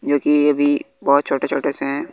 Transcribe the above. जो कि ये भी बहोत छोटे छोटे से है।